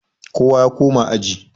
kowa ya koma aji?